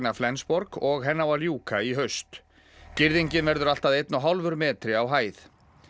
Flensborg og henni á að ljúka í haust girðingin verður allt að einn og hálfur metri á hæð